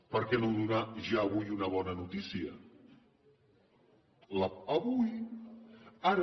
per què no donar ja avui una bona notícia avui ara